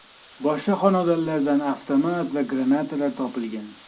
Boshqa xonadonlardan avtomat va granatalar topilgan.